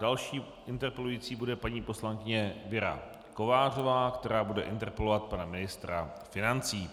Další interpelující bude paní poslankyně Věra Kovářová, která bude interpelovat pana ministra financí.